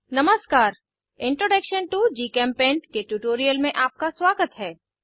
नमस्कार introduction to GChemPaint के tutorial में आपका स्वागत है